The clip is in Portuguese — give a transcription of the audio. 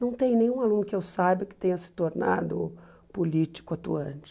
Não tem nenhum aluno que eu saiba que tenha se tornado político atuante.